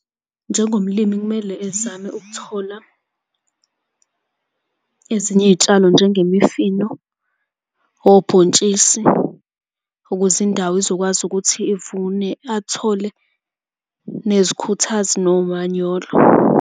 Njengomlimi kumele ezame ukuthola ezinye iy'tshalo njengemifino, obhontshisi, ukuze indawo izokwazi ukuthi ivune athole nezikhuthazi nomanyolo.